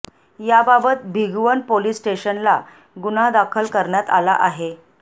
याबाबत भिगवण पोलीस स्टेशनला गुन्हा दाखल करण्यात आला आहे